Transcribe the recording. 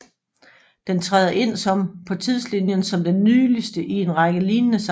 Den træder ind som på tidslinjen som den nyligste i en række lignende samtaler